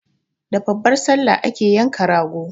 Da babbar Sallah ake yanka rago.